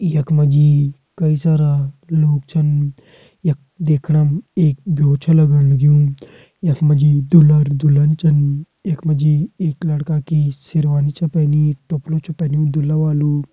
यख मा जी कई सारा लोग छन यख देखणम एक ब्यो छ लगण लग्युं यख मा जी दूल्हा-दुल्हन छन यख मा जी एक लड़का की शेरवानी छ पैनि टोप्लु छ पैन्यु दूल्हा वालु।